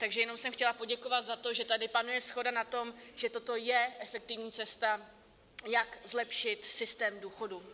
Takže jenom jsem chtěla poděkovat za to, že tady panuje shoda na tom, že toto je efektivní cesta, jak zlepšit systém důchodů.